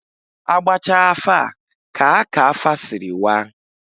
A gbachaa afa a kaa ka afa sịrị waa.